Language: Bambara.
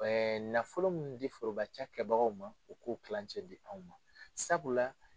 Ɛɛ nafolo min bɛ di foroba ca kɛbagaw ma u k'o tilancɛ di anw ma sabula